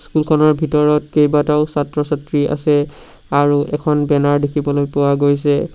স্কুলখনৰ ভিতৰত কেইবাটাও ছাত্ৰ-ছাত্ৰী আছে আৰু এখন বেনাৰ দেখিবলৈ পোৱা গৈছে।